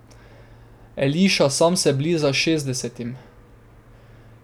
Eliša sam se bliža šestdesetim.